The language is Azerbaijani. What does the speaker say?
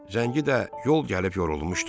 Zəngi də yol gəlib yorulmuşdu.